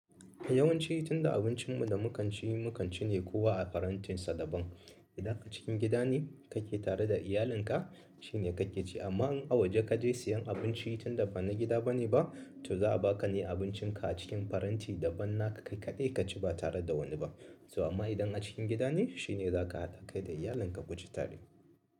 Yawanci tinda abincin mu da mukan ci, mukan cine kowa a farantin shi daban idan a cikin gida ne kake tare da iyalinka shine kake ci amma in a waje kaje siyan abinci tinda bana gida bane ba, to za'a baka abincin ka ne a cikin faranti daban naka kai kadai kaci ba tare da wani bah to amma idan a cikin gida ne shine za ka haɗa kai da iyalinka ku ci tare.